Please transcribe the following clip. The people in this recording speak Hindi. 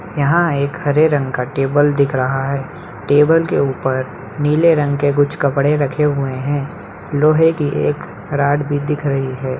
यहाँ एक हरे रंग का टेबल दिख रहा है टेबल के ऊपर नीले रंग के कुछ कपड़े रखे हुए हैं लोहे की एक रॉड भी दिख रही है।